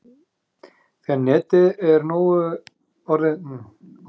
þegar netið er orðið nógu sterkt slökkvum við á hitanum undir egginu